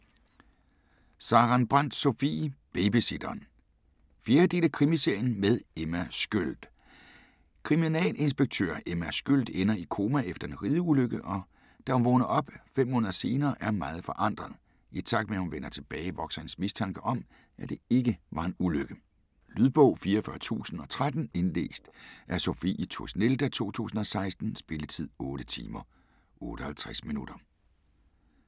Sarenbrant, Sofie: Babysitteren 4. del af Krimiserien med Emma Sköld. Kriminalinspektør Emma Sköld ender i koma efter en rideulykke, og da hun vågner op fem måneder senere er meget forandret. I takt med at hun vender tilbage, vokser hendes mistanke om, at det ikke var en ulykke. Lydbog 44013 Indlæst af Sophie Tusnelda, 2016. Spilletid: 8 timer, 58 minutter.